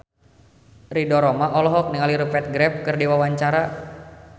Ridho Roma olohok ningali Rupert Graves keur diwawancara